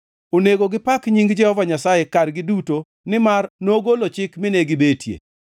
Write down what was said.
Onego gipak nying Jehova Nyasaye kargi duto nimar nogolo chik mine gibetie.